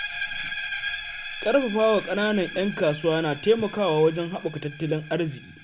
Ƙarfafawa ƙananan 'yan kasuwa na taimakawa wajen haɓaka tattalin arziki.